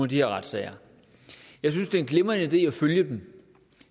de her retssager jeg synes det er en glimrende idé at følge dem